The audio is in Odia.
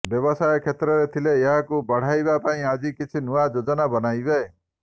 ବ୍ୟବସାୟ କ୍ଷେତ୍ରରେ ଥିଲେ ଏହାକୁ ବଢ଼ାଇବା ପାଇଁ ଆଜି କିଛି ନୂଆ ଯୋଜନା ବନାଇବେ